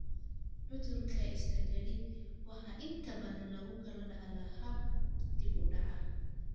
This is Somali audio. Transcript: Cudurka Stargardt waxaa inta badan lagu kala dhaxlaa hab dib u dhac ah.